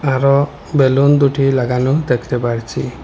আরো বেলুন দুটি লাগানো দেখতে পারছি।